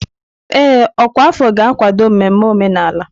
Ee, ọkwa afọ ga-akwado mmemme omenala.